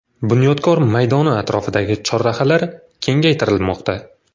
Bunyodkor maydoni atrofidagi chorrahalar kengaytirilmoqda.